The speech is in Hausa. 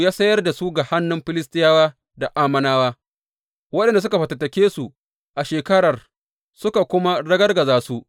Ya sayar da su ga hannun Filistiyawa da Ammonawa, waɗanda suka fatattake su a shekarar suka kuma ragargaza su.